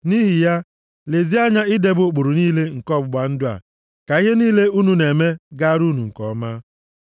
Nʼihi ya, lezie anya idebe ụkpụrụ niile nke ọgbụgba ndụ a, ka ihe niile unu na-eme gaara unu nke ọma.